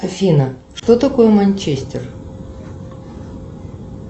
афина что такое манчестер